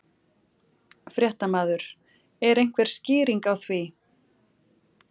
Fréttamaður: Er einhver skýring á því?